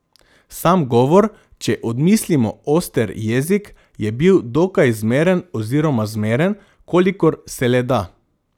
Sam govor, če odmislimo oster jezik, je bil dokaj zmeren oziroma zmeren, kolikor se le da.